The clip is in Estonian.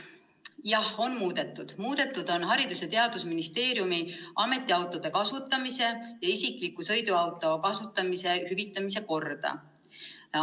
Jah, Haridus- ja Teadusministeeriumi ametiautode kasutamise ja isikliku sõiduauto kasutamise hüvitamise korda on muudetud.